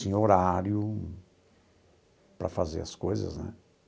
Tinha horário para fazer as coisas, né?